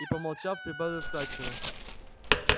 и помолчав прибавил вкрадчиво